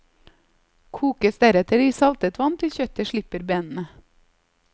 Kokes deretter i saltet vann til kjøttet slipper benene.